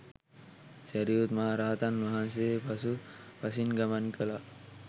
සැරියුත් මහ රහතන් වහන්සේ පසු පසින් ගමන් කළා.